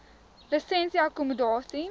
lisensie akkommodasie